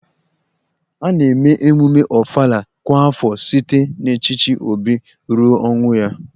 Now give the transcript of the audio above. A na-eme emume Ofala kwa afọ site n'echichi obi ruo ọnwụ ya